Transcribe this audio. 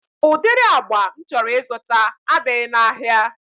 Udiri agba m chọrọ ịzụta adịghị na ahịa